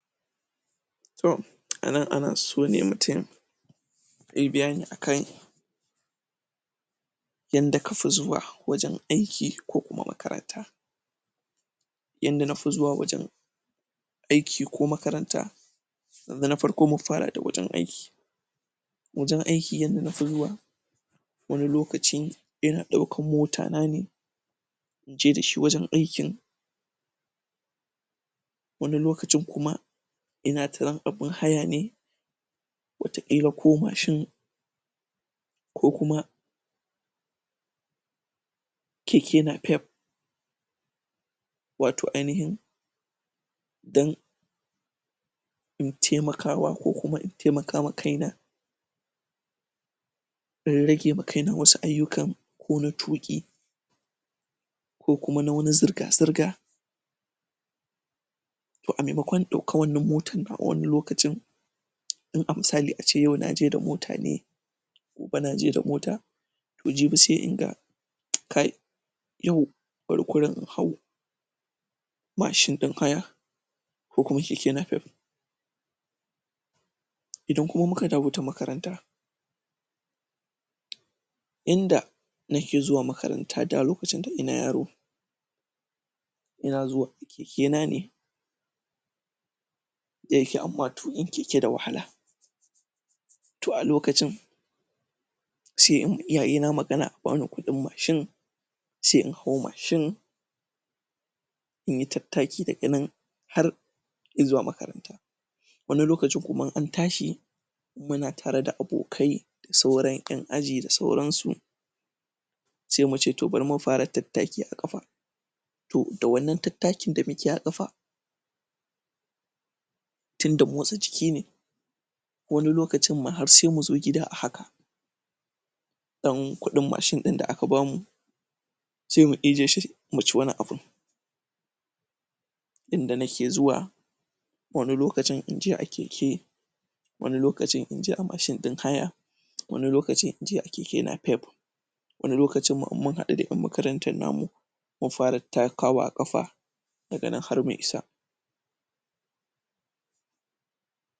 To anan ana so ne mutun yai bayani akan yanda kafi zuwa wajen aiki ko makaranta yanda nafi zuwa wajen aiki ko makaranta da na farko mun fara da wajen aiki wajen aiki yanda nafi zuwa wani lokaci ina ɗaukan mota na ne inje da shi wajen aikin wani lokacin kuma ina tsayuwan abun haya ne wata ƙila ko mashin ko kuma keke napep wato ainihin dan in taimakawa ko kuma ina taimakawa kai na in rage ma kaina wasu ayyukan ko na tuƙi ko kuma na wasu zirga-zirga to a maimakon in ɗauka wannan motan nawa wani lokacin in a misali a ce yau naje da mota ne gobe naje da mota to jibi sai in ga kai yau bari kurun in hau mashin ɗin haya ko kuma keke napep idan kuma muka dawo ta makaranta inda, nake zuwa makaranta da lokacin tun ina yaro ina zuwa a keke na ne da yake amma tuƙin keke da wahala to a lokacin se in ma iyaye na magana a bani kuɗin mashin se in hau mashin inyi tattaki daga nan har izuwa makaranta wani lokacin kuma in an tashi muna tare da abokai da sauran ƴan aji da sauran su sai muce to bari mu fara tattaki a ƙafa to da wannan tattakin da muke a ƙafa tunda motsa jiki ne wani lokacin ma har sai muzo gida a haka daman kuɗin mashin ɗin da aka bamu sai mu ijiye shi mu ci wani abin inda nake zuwa wani lokacin in je a keke wani lokacin inje a mashin ɗin haya wani lokacin in je a keke napep wani lokacin ma in mun haɗu da ƴan makarantar na mu mu fara takawa a ƙafa daga nan har mu isa.